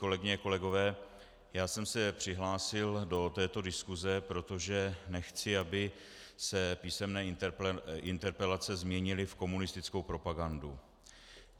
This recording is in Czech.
Kolegyně a kolegové, já jsem se přihlásil do této diskuse, protože nechci, aby se písemné interpelace změnily v komunistickou propagandu.